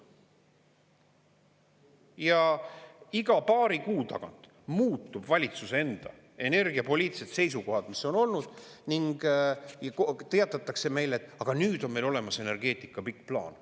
Ja iga paari kuu tagant muutuvad valitsuse enda energiapoliitilised seisukohad, mis on olnud, ning teatatakse meile: aga nüüd on meil olemas energeetika pikk plaan.